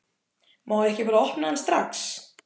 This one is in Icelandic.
Má ég ekki bara opna hann strax?